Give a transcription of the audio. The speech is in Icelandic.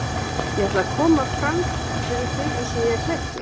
Ég ætla að koma fram fyrir þig eins og ég er klæddur.